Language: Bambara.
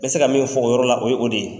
N bɛ se ka min fɔ o yɔrɔ la o ye o de ye.